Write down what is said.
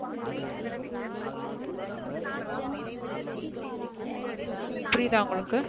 புரியுதா உங்களுக்கு,